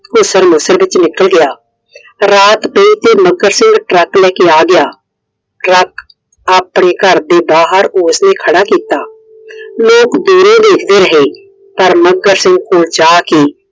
ਘੁਸਰਮਸਰ ਵਿੱਚ ਨਿਕਲ ਗਿਆ। ਰਾਤ ਪਾਈ ਤਾ ਮੱਘਰ ਸਿੰਘ Truck ਲੈਕੇ ਆ ਗਿਆ। Truck ਆਪਣੇ ਘਰ ਦੇ ਬਾਹਰ ਉਸਨੇ ਖੜਾ ਕੀਤਾ। ਲੋਕ ਦੂਰੋਂ ਦੇਖਦੇ ਰਹੇ ਪਰ ਮੱਘਰ ਸਿੰਘ ਕੋਲ ਜਾ ਕੇ